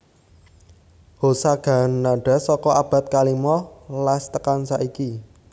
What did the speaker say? Hosagannada saka abad kalimo las tekan saiki